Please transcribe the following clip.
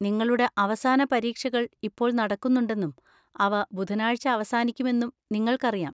നിങ്ങളുടെ അവസാന പരീക്ഷകൾ ഇപ്പോൾ നടക്കുന്നുണ്ടെന്നും അവ ബുധനാഴ്ച അവസാനിക്കുമെന്നും നിങ്ങൾക്കറിയാം.